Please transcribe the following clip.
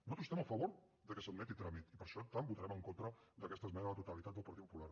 nosaltres estem a favor que s’admeti a tràmit i per això per tant votarem en contra d’aquesta esmena a la totalitat del partit popular